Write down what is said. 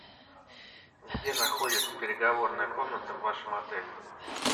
где находится переговорная комната в вашем отеле